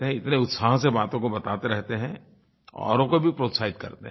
इतने उत्साह से बातों को बताते रहते हैं औरों को भी प्रोत्साहित करते हैं